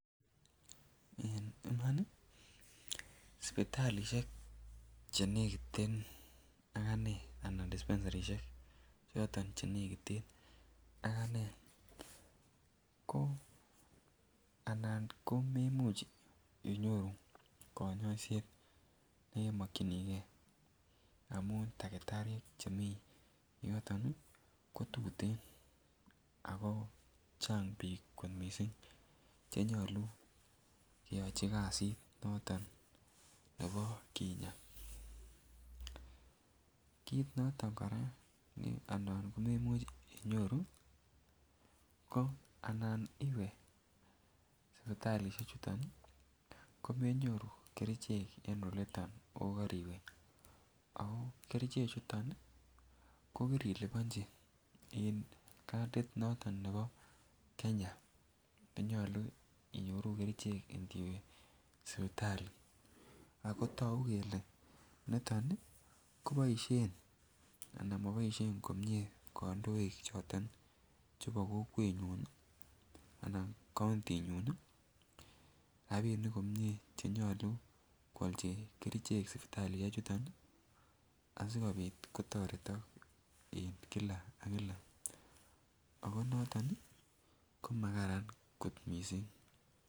En Iman sipitalisiek Che nekiten ak anee anan dispensarisiek choton Che nekiten aganee ko anan komamuch inyoru konyoiset nekemokyinige amun takitariek Che mi yoton ko tuten ako chang bik kot mising Che nyolu keyochi kasit noton nebo kinyaa kit noton age ne anan komemuch inyoru ko anan iwe sipitalisiechu komenyoru kerichek en olito ako koriwe kerichechu ko kirilibonji en kadit noton nebo Kenya ko nyolu inyoru kerichek ndiwe sipitali ako togu kele niton ko moboisien komie kandoik choton chebo kokwenyun Anan kaunti nyun rabinik komie Che nyolu ko ialchi kerichek sipitalisiechu asikobit kotoretok en kila ak kila ako noton ko makararan kot mising